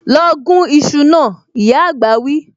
Lọ gún iṣu náà, ìyá àgbà wí